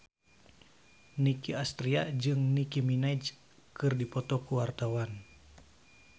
Nicky Astria jeung Nicky Minaj keur dipoto ku wartawan